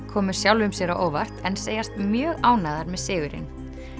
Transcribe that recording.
komu sjálfum sér á óvart en segjast mjög ánægðar með sigurinn